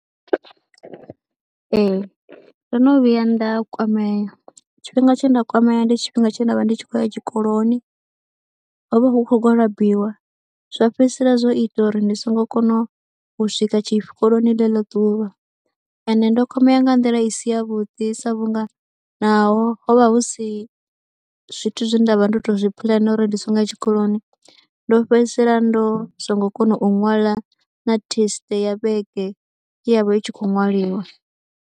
Ee ndo no vhuya nda kwamea tshifhinga tshe nda kwamea, tshifhinga tshe nda vha ndi tshi khou ya tshikoloni, ho vha hu khou gwalabiwa zwa fhedzisela zwo ita uri ndi songo kona u u swika tshikoloni ḽeḽo ḓuvha ende ndo kwamea ya nga nḓila i si yavhuḓi sa vhunga naho ho vha hu si zwithu zwe nda vha ndo tou zwi phuḽena uri ndi si ngo ya tshikoloni ndo fhedzisela ndo songo kona u ṅwala na thesite ya vhege ye ya vha i tshi khou ṅwaliwa.